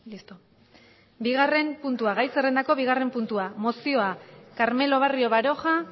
gai zerrendako bigarren puntua mozioa carmelo barrio baroja